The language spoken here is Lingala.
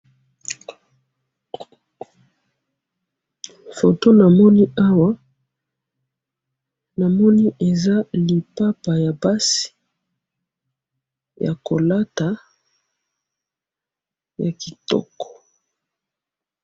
Foto namoni awa, namoni eza lipapa yabasi, yakolata, yakitoko.